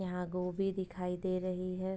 यहाँ गोभी दिखाई दे रही है।